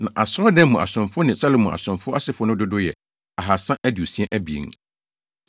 Na asɔredan mu asomfo ne Salomo asomfo asefo no dodow yɛ 2 362